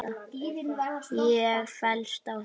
Ég fellst á þetta.